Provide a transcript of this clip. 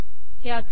हे असे